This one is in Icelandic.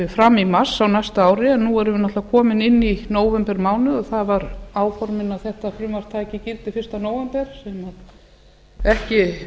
fram í mars á næsta ári en nú erum við náttúrlega komin inn í nóvembermánuð og það var áformað að þetta frumvarp tæki gildi fyrsta nóvember sem ekki